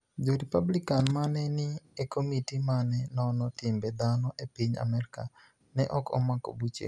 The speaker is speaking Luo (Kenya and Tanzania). Jo-Republicani ma ni e nii e komiti ma ni e nono timbe dhano e piniy Amerka ni e ok omako buchego.